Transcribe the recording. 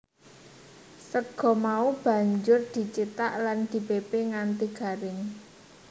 Sega mau banjur dicithak lan dipepe nganti garing